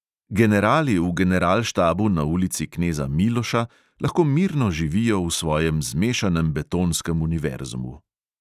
Generali v generalštabu na ulici kneza miloša lahko mirno živijo v svojem zmešanem betonskem univerzumu.